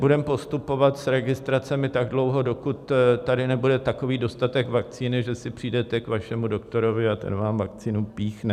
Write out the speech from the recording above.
Budeme postupovat s registracemi tak dlouho, dokud tady nebude takový dostatek vakcíny, že si přijdete k svému doktorovi a ten vám vakcínu píchne.